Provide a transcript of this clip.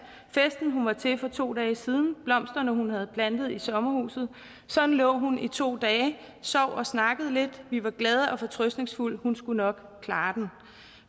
festen hun var til for to dage siden blomsterne hun havde plantet i sommerhuset sådan lå hun i to dage sov og snakkede lidt indimellem vi var glade og fortrøstningsfulde hun skulle nok klare den